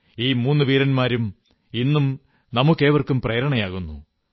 ഈ മൂന്നു വീരന്മാരും ഇന്നും നമുക്കേവർക്കും പ്രേരണയേകുന്നു